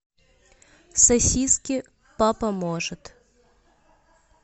сосиски папа может